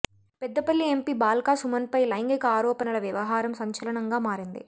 Peddapalli MP Balka సుమన్పై లైంగిక ఆరోపణల వ్యవహారం సంచలనంగా మారింది